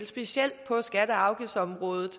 specielt på skatte og afgiftsområdet